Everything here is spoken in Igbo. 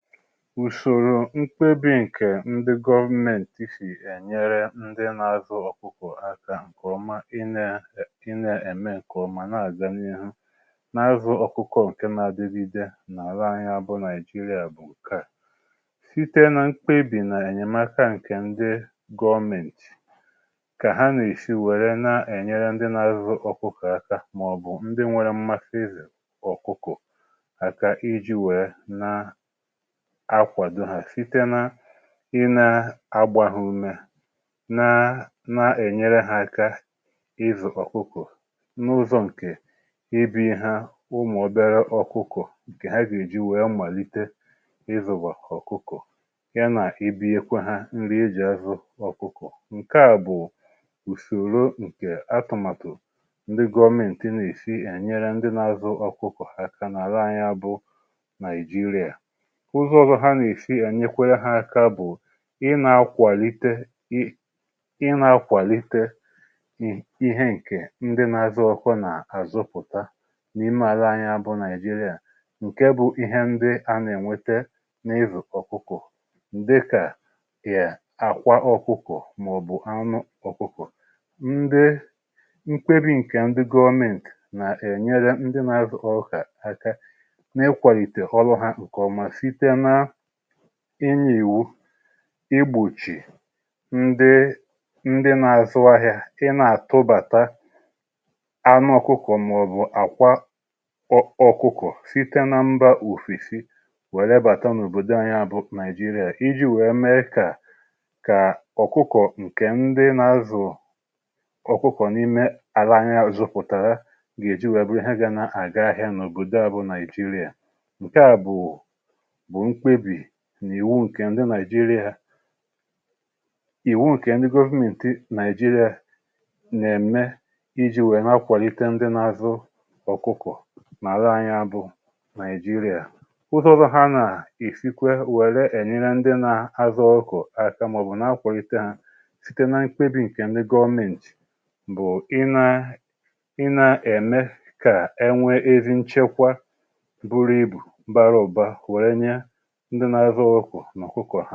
Ùsòrò mkpebi ǹkè ndi government sì ènyere ndi nà-azụ ọ̀kụkọ̀ aka ǹkè ọma ị na ị na-ẹ̀mẹ ǹkè ọ̀ma na-àganihu n’azụ ọ̀kụkọ̀ ǹkè nà-adụgìde nà-àla anyị bụ nàịjirịa bụ̀ ǹkè a, site nà mkpebi nà-ènyèmaka ǹkè ndi gọọmentì kà ha nà-èsi wère nà-ènyere ndi nà-azụ ọ̀kụkọ̀ aka mà ọ̀ bụ̀ ndi nwere mmasi izu ọ̀kụkọ̀ àkà iji wèe na-akwado ha site na ị na-agba ha ume na na-enyere ha aka ịzu ọkụkọ na-uzo ǹke ibu ha ụmụ obere ọkụkọ nke ha gà-eji wee mmalite izuba ọkụkọ ya na ịbụnyekwa ha nri eji azụ ọkụkọ nke a bụ̀ ùsòro ǹkè atụ̀màtụ̀ ndị gọọmenti nà-èsi ènyere ndị na-azụ ọkụkọ̀ aka nà-àla anyi bụ Naịjịrịa. Ụzọ ọzọ ha nà-èsi ènyekwere ha aka bụ̀ ị nȧ-akwàlite ị nȧ-akwàlite ihe ǹkè ndị na-azụ ọkụkọ nà-àzụpụ̀ta n’ime àla anyi bụ Naịjịrịa ǹke bụ ihe ndị a nà-ènwete n’ịzụ̀ ọkụkọ̀ dịkà yà àkwa ọkụkọ̀ màọ̀bụ̀ anụ ọkụkọ̀ ndị nkwebì ǹkè ndị gọọment nà-ènyere ndị na-azụ ọkụkọ aka na-ịkwàlìtè ọrụ ha ǹkè ọma site na inye iwu i gbùchì ndi ndi nà-azụ ahịȧ ị nà-àtụbàta anụ ọkụkọ̀ màọ̀bụ̀ àkwa ọ ọkụkọ̀ site na mbȧ ofesì wère bàta n’òbòdò anya bụ Naịjịrịa, iji̇ wèe mee kà kà ọkụkọ̀ ǹkè ndi nà-azụ̀ ọkụkọ̀ n’ime ala anyi zụpụ̀tàrà gà-èji wèe bụ̀ ihe gȧ na-àga ahịȧ n’òbòdo à bụ Naịjịrịa ǹkè a bú bụ mkpebi n'ìwu ǹkè ndị Naịjịrịa iwu nke ndi government Naịjịrịa nà-ème iji̇ nwèè n’akwàlite ndị n’azụ ọ̀kụkọ̀ nà-àlà anyị bụ Naịjịrịa. Ụzọ ọzọ ha nà-èsikwa wère ènyere ndị n’azụ ọkụ̀kọ àkà ma ọbụ̀ n’akwàlite ha site nà mkpebì ǹkè ndi gọọmenti bụ̀ i nà ị nȧ-ème kà ènwe ezi nchekwa buru ibù bara ụba wee nye ndị na-azụ ọkụkọ na ọkụkọ ha.